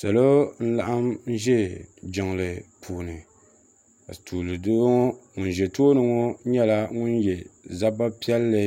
Salo n-laɣim ʒe jiŋli puuni ka tuuli doo ŋɔ ŋun ʒe tooni ŋɔ ye zaba piɛlli